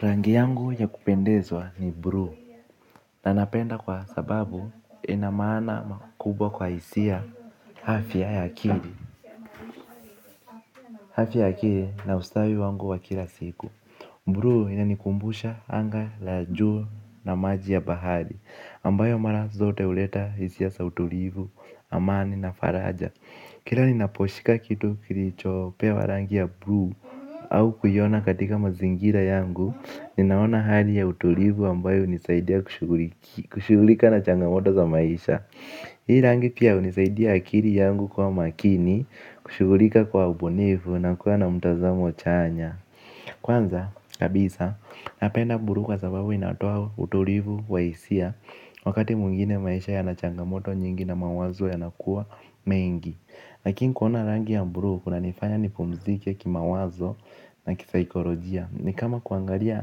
Rangi yangu ya kupendezwa ni blue na napenda kwa sababu ina maana makubwa kwa hisia afya ya akili. Afya ya akili na ustawi wangu wa kila siku. Bluu inanikumbusha anga la juu na maji ya bahari ambayo mara zote huleta hisia za utulivu amani na faraja. Kila ninaposhika kitu kilichopewa rangi ya bluu au kuiona katika mazingira yangu, ninaona hali ya utulivu ambayo hunisaidia kushughulika na changamoto za maisha. Hii rangi pia hunisaidia akili yangu kuwa makini, kushughulika kwa ubunivu na kuwa na mtazamo chanya. Kwanza, kabisa, napenda bluu kwa sababu inatoa utulivu wa hisia. Wakati mwingine maisha yana changamoto nyingi na mawazo yanakuwa mengi. Lakin kuona rangi ya bluu kunanifanya nipumzike kimawazo na kisaikolojia. Ni kama kuangalia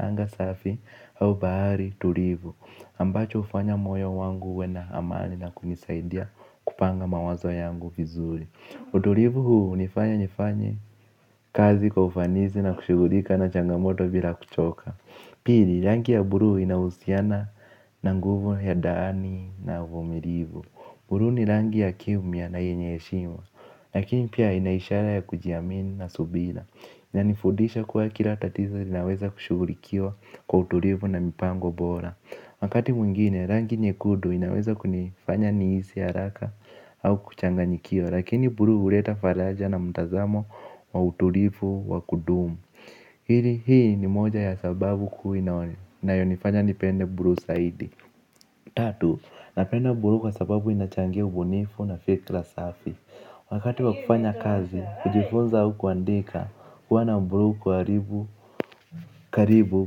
anga safi au bahari tulivu ambacho hufanya moyo wangu uwe na amani na kunisaidia kupanga mawazo yangu vizuri. Utulivu huu hunifanya nifanye kazi kwa ufanisi na kushughulika na changamoto bila kuchoka. Pili rangi ya bluu inahusiana na nguvu ya ndani na uvumilivu. Bluu ni rangi ya kimya na yenye heshima. Lakini pia ina ishara ya kujiamini na subira. Inanifudisha kuwa kila tatizo linaweza kushughulikiwa kwa utulivu na mipango bora. Wakati mwingine rangi nyekudu inaweza kunifanya nihisi haraka au kuchanganyikiwa. Lakini bluu huleta faraja na mtazamo wa utulivu wa kudumu. Hii ni moja ya sababu kuu inayonifanya nipende bluu zaidi. Tatu, napenda bluu kwa sababu inachangia ubunifu na fikra safi. Wakati wa kufanya kazi, kujifunza au kuandika kuwa na bluu karibu karibu.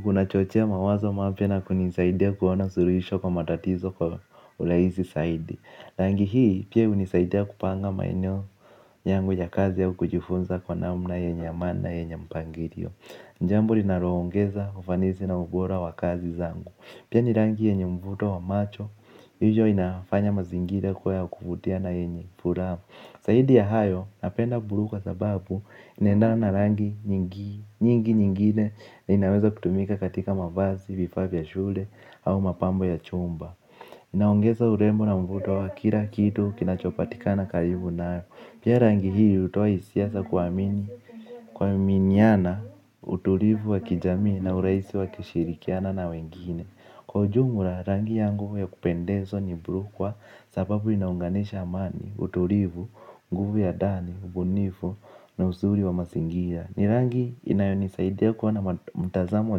Kunachochea mawazo mapya na kunisaidia kuona suluhisho kwa matatizo kwa urahisi zaidi. Rangi hii, pia hunisaidia kupanga maeneo yangu ya kazi ya au kujifunza kwa namna yenye maana yenye mpangilio. Jambo linaloongeza ufanisi na ubora wa kazi zangu. Pia ni rangi yenye mvuto wa macho, hivyo inafanya mazingira kuwa ya kuvutia na yenye furaha. Zaidi ya hayo napenda bluu kwa sababu inaendana na rangi nyingi. Nyingi nyingine inaezatumika katika mavazi, vifaa vya shule au mapambo ya chumba. Inaongeza urembo na mvuto wa kila kitu kinachopatikana karibu nayo. Pia rangi hii hutoa hisia za kuamini, kuaminiana, utulivu wa kijamii, na urahisi wa kishirikiana na wengine. Kwa ujumla, rangi yangu ya kupendezwa ni blue kwa sababu inaunganisha amani, utulivu, nguvu ya ndani, ubunifu na uzuri wa mazingira. Ni rangi inayo nisaidia kuona mtazamo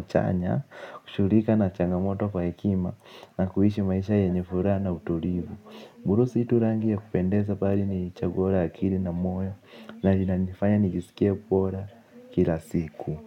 chanya, kushughulika na changamoto kwa hekima na kuishi maisha yenye furaha na utulivu. Bluu si tu rangi ya kupendezwa bali ni chaguo la akili na moyo na linanifanya nijisikie bora kila siku.